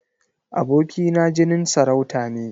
Aboki na jinin sarauta ne.